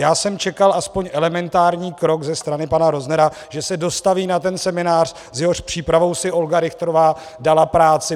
Já jsem čekal aspoň elementární krok ze strany pana Roznera, že se dostaví na ten seminář, s jehož přípravou si Olga Richterová dala práci.